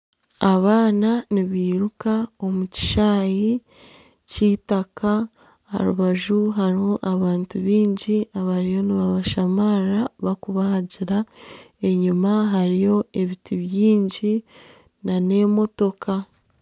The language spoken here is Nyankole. Abaana nibairuka omu kishaayi ky'eitaka. Aha rubaju hariho abantu baingi abariyo nibabashamarira barikubahagira enyima hariyo ebiti bingi nana emotoka.